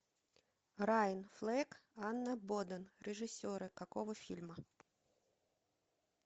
райан флек анна боден режиссеры какого фильма